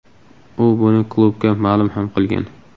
U buni klubga ma’lum ham qilgan.